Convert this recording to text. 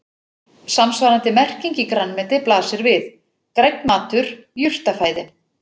Samsvarandi merking í grænmeti blasir við: grænn matur, jurtafæði.